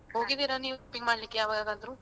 ಹೋಗಿದೀರಾ ನೀವು ಮಾಡ್ಲಿಕ್ಕೆ ಯಾವಾಗಾದ್ರೂ?